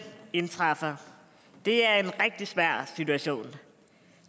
indtræffer det er en rigtig svær situation